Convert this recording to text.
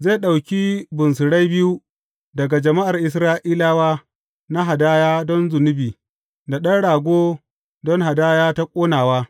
Zai ɗauki bunsurai biyu daga jama’ar Isra’ilawa na hadaya don zunubi da ɗan rago don hadaya ta ƙonawa.